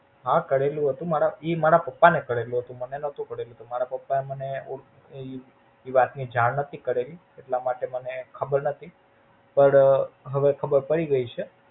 હા કરેલી હતી, મારા ઈ મારા પપ્પા ને કરેલી હતી મને નોતી કરેલી. મારા પપ્પા એ મને ઈ વાત ની જાણ નોતી કરેલી એટલા માટે મને ખબર નોતી પણ હવે ખબર પડી ગઈ છે.